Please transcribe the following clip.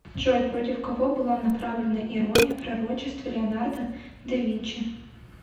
джой против кого была направлена ирония пророчеств леонардо да винчи